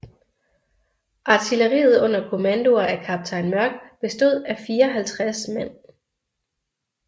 Artilleriet under kommandoer af kaptajn Mörck bestod af 54 man